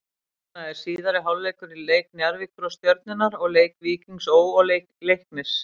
Núna er síðari hálfleikur í leik Njarðvíkur og Stjörnunnar og leik Víkings Ó. og Leiknis.